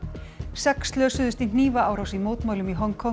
sex slösuðust í hnífaárás í mótmælum í Hong Kong